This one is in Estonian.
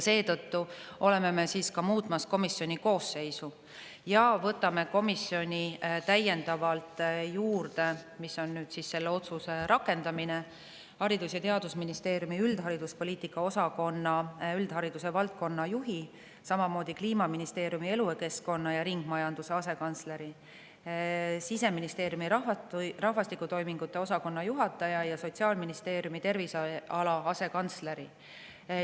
Seetõttu oleme muutmas komisjoni koosseisu ja võtame komisjoni täiendavalt juurde – see on selle otsuse rakendamine – Haridus- ja Teadusministeeriumi üldhariduspoliitika osakonna üldhariduse valdkonna juhi, samamoodi Kliimaministeeriumi elukeskkonna ja ringmajanduse asekantsleri, Siseministeeriumi rahvastikutoimingute osakonna juhataja ja Sotsiaalministeeriumi terviseala asekantsleri.